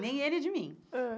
Nem ele de mim. Ãh